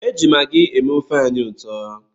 Eji magi eme ofe anyị ụtọ.